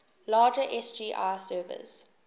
larger sgi servers